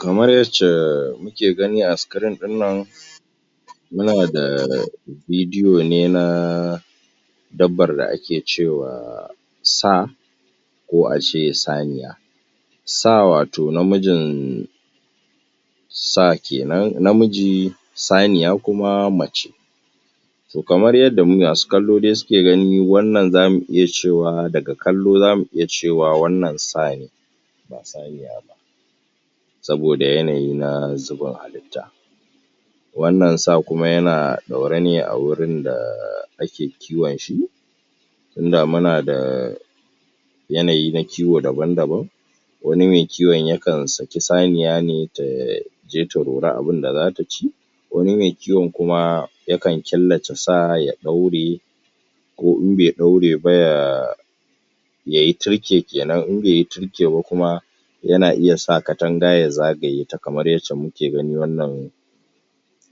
kamar yacca muke gani a screen ɗin nan muna da video ne na dabbar da ake cewa Sa ko ace saniya Sa wato namijin sa kenan namiji saniya kuma mace to kamar yadda masu kallo suke gani wannan zamu iya cewa daga kallo zamu iya cewa wannan sa ne ba saniya ba saboda yanayi na zubin halitta wannan sa kuma yana ɗaure ne a gurin da ake kiwon shi tinda muna da yanayi na kiwo daban daban wani me kiwon yakan saki saniya ne taje ta rora abin da zata ci wani me kiwon kuma yakan killace sa ya ɗaure ko in be ɗaure ba ya yayi tirke kenan in beyi tirke ba kuma yana iya sa katanga ya zagaye ta kamar yacca muke gani wannan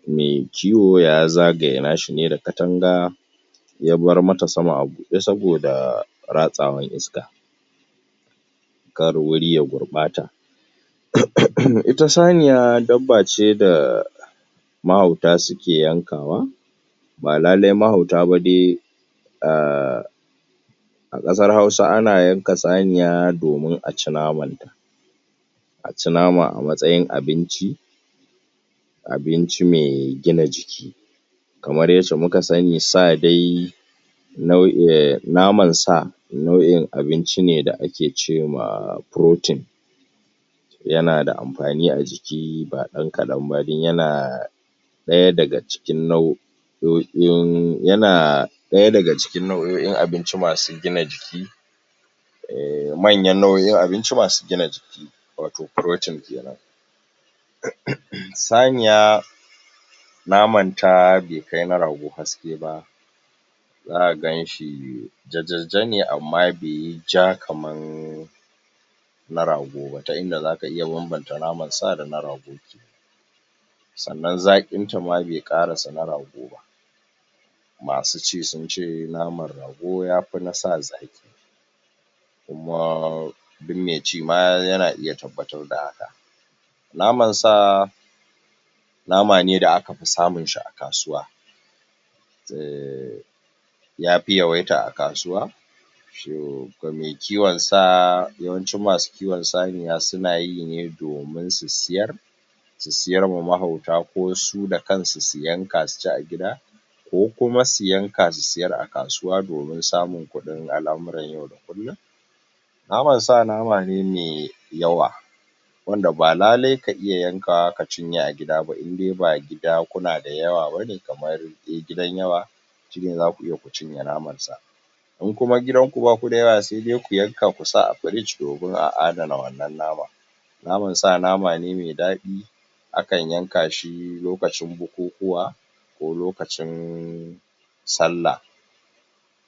me kiwo ya zagaye nashine da katanga yabar mata sama a buɗe saboda ratsawar iska kar guri ya gurɓata ita saniya dabbabce da mahauta suke yankawa ba lallai mahauta ba dai ah a ƙasar hausa ana yanka saniya domin a ci naman ta a ci nama a matsayin abinci abinci me gina jiki kamar yacca muka sani sa dai naman sa nau'in abinci ne da ake cema protein yana da amfani a jiki ba ɗan kaɗan ba dan yana ɗaya daga cikin nau'in sauƙin yana ɗaya daga cikin nau'o'in abinci masu gina jiki manyan nau'o'in abinci masu gina jiki wato protein kenan saniya naman ta be kai na rago haske ba zaka ganshi jajajajane amma be yi ja kaman na rago ba ta inda zaka iya banbanta naman sa dana rago sannnan zaƙinta ma be ƙarasa na rago ba masu ci sunce naman rago yafi na sa zaƙi kuma duk me ci ma yana iya tabbatar da haka naman sa nama ne da aka fi samunsa a kasuwa yafi yawaita a kasuwa shine da me kiwon sa yawancin masu kiwon sa sunayi ne domin su siyar su siyar ma mahauta ko su d akansu su yanka suci a gida ko kuma su yanka su siyar a kasuwa domin samun kuɗin al'amuran yau da kullum naman sa nama ne me yawa wanda ba lallai ka iya yanka wa kacinye a gida nidai ba gida kuna da yawa bane kamar dai gidan yawa shine zaku iya ku cinye naman sa in kuma gidan ku baku da yawa se dai ku yanka kusa a fridge domin a adana wannan naman naman sa nama ne me daɗi akan yanka shi lokacin bukukuwa ko lokacin sallah